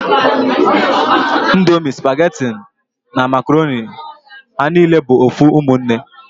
Ndomi, supageti na makoroni ha nine bu ofu umunne